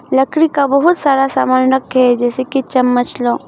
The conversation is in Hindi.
लकड़ी का बहुत सारा सामान रखे हैं जैसे की चम्मच--